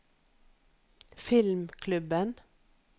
filmklubben